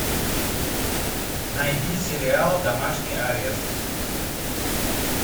найди сериал домашний арест